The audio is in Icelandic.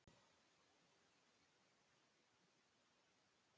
Tindar, mun rigna í dag?